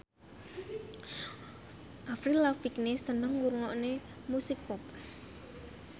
Avril Lavigne seneng ngrungokne musik pop